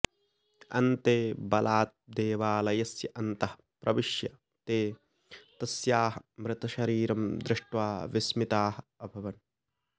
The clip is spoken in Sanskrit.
अन्ते बलात् देवालयस्य अन्तः प्रविश्य ते तस्याः मृतशरीरं दृष्ट्वा विस्मिताः अभवन्